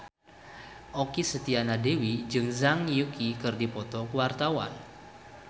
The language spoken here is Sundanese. Okky Setiana Dewi jeung Zhang Yuqi keur dipoto ku wartawan